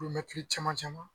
Kilomɛtiri caman caman